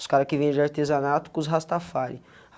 Os caras que vende artesanato com os Rastafari.